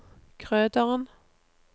Krøderen